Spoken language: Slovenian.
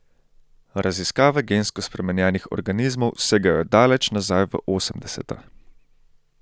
Raziskave gensko spremenjenih organizmov segajo daleč nazaj v osemdeseta.